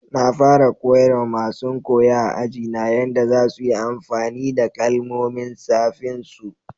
Na fara koyar ma masun koyo a'aji na yadda za su yi amfani da kalmomin safin su.